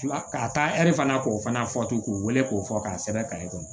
Fila ka taa ɛri fana k'o fana fɔ to k'o wele k'o fɔ k'a sɛbɛn kɔnɔ